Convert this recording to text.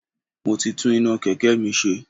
Mo ti tún iná Kẹ̀kẹ́ mi ṣe.